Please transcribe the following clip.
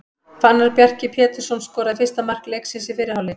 Fannar Bjarki Pétursson skoraði fyrsta mark leiksins í fyrri hálfleik.